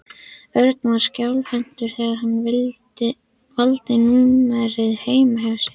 Örn var skjálfhentur þegar hann valdi númerið heima hjá sér.